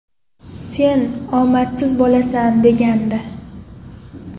Sen omadsiz bo‘lasan”, – degandi.